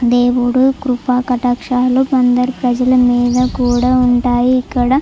దేవుడు కృప కటాక్షాలు అందరి ప్రజల మీద కూడా ఉంటాయి. ఇక్కడ --